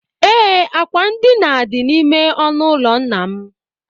Ee, akwa ndina dị n'ime ọnụụlọ nna m